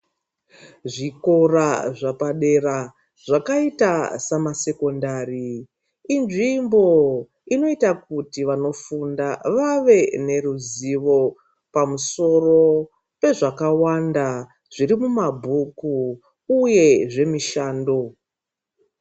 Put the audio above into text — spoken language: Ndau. Zvikora zvapadera zvakaita samasekondari inzvimbo inoita kuti vanofunda vave neruzivo pamusoro pezvakawanda zviri mumabhuku uye zvemishando.